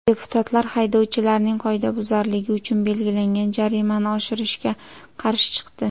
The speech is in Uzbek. Deputatlar haydovchilarning qoidabuzarligi uchun belgilangan jarimani oshirishga qarshi chiqdi.